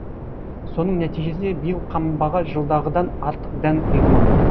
соның нәтижесінде биыл қамбаға жылдағыдан артық дән құйылмақ